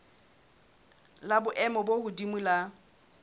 la boemo bo hodimo la